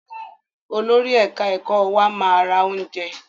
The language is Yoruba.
Olórí ẹ̀ka ẹ̀kọ́ wa máa ra oúnjẹ.